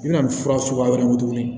I bɛna nin fura suguya wɛrɛ mun tuguni